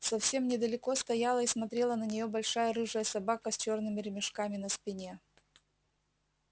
совсем недалеко стояла и смотрела на нее большая рыжая собака с чёрными ремешками на спине